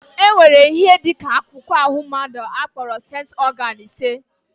Enwere ihe dị ka akụkụ ahụ mmadụ akporo séns ọgán ise